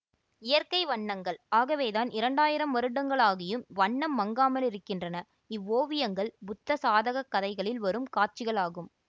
இயற்கை வண்னங்கள் ஆகவேதான் இரண்டாயிரம் வருடங்களாகியும் வண்ணம் மங்காமலிருக்கின்றன இவ்வோவியங்கள் புத்த சாதகக் கதைகளில் வரும் காட்சிகள் ஆகும்